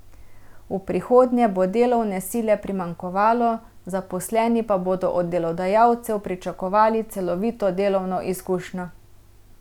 V prihodnje bo delovne sile primanjkovalo, zaposleni pa bodo od delodajalcev pričakovali celovito delovno izkušnjo.